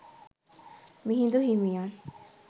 මිහිඳු හිමියන්